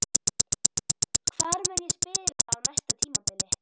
Hvar mun ég spila á næsta tímabili?